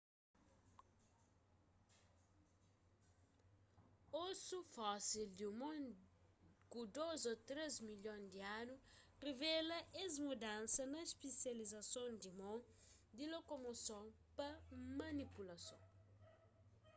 osu fósil di un mon ku dôs a três milhon di anu revela es mudansa na spesializason di mon di lokomoson pa manipulason